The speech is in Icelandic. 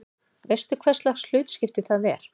Veistu hverslags hlutskipti það er?